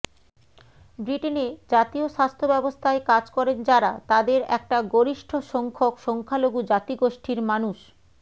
ব্রিটেনে জাতীয় স্বাস্থ্য ব্যবস্থায় কাজ করেন যারা তাদের একটা গরিষ্ঠ সংখ্যক সংখ্যালঘু জাতিগোষ্ঠির মানুষ